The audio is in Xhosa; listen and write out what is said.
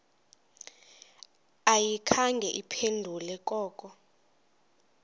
ayikhange iphendule koko